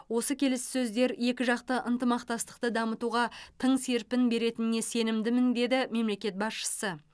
осы келіссөздер екіжақты ынтымақтастықты дамытуға тың серпін беретініне сенімдімін деді мемлекет басшысы